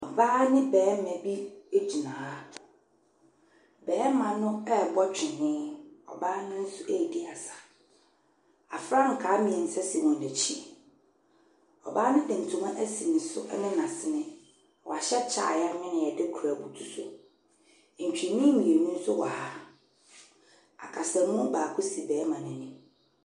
Ɔbaa ne barima bi gyina ha. Barima no rebɔ twene, ɔbaa no nso redi asa. Afrankaa mmeɛnsa si wɔn akyi. Ɔbaa no de ntoma asi ne so ne n'asene. Wahyɛ kyɛ a wɔanwene a wɔde kora abutu so. Ntwene mmienu nso wɔ ha. Akasamu baako si barima no anim.